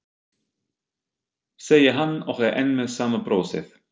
segir hann og er enn með sama brosið.